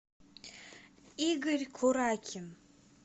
игорь куракин